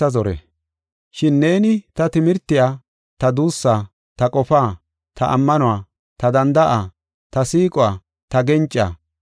Shin neeni ta timirtiya, ta duussaa, ta qofaa, ta ammanuwa, ta danda7aa, ta siiquwa, ta gencaa,